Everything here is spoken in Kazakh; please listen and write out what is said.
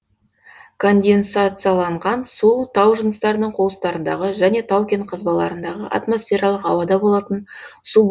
конденсацияланған су тау жыныстарының қуыстарындағы және тау кен қазбаларындағы атмосфералық ауада болатын су